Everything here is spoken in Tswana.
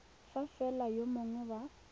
fa fela yo mongwe wa